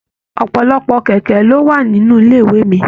Ọpọlọpọ kẹkẹ lo wà nínú ilé ìwé mí.